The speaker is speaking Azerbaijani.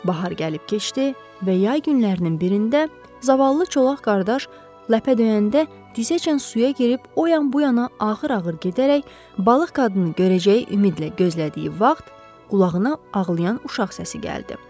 Bahar gəlib keçdi və yay günlərinin birində zavallı çolaq qardaş ləpə döyəndə dizəcən suya girib o yan bu yana ağır-ağır gedərək balıq qadını görəcəyi ümidlə gözlədiyi vaxt qulağına ağlayan uşaq səsi gəldi.